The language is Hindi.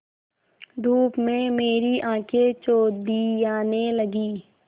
धूप में मेरी आँखें चौंधियाने लगीं